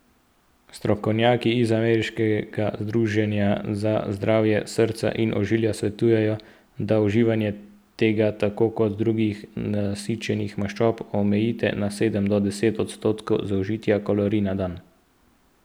Strokovnjaki iz ameriškega združenja za zdravje srca in ožilja svetujejo, da uživanje tega tako kot drugih nasičenih maščob omejite na sedem do deset odstotkov zaužitih kalorij na dan.